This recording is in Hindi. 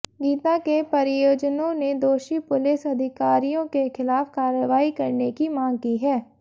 गीता के परिजनों ने दोषी पुलिस अधिकारियों के खिलाफ कार्रवाई करने की मांग की है